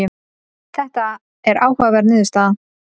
Þetta er áhugaverð niðurstaða.